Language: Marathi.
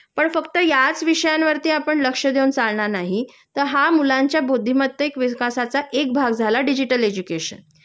पण फक्त याच विषयांवर आपण लक्ष देऊन चालणार नाही तर हा मुलांच्या बौद्धिमतेक विकासाचा एक भाग झाला डिजिटल एजुकेशन